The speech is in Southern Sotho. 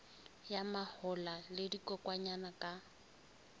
ya mahola le dikokwanyana ka